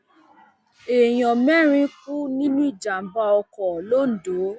èèyàn mẹrin kú nínú ìjàmbá ọkọ londo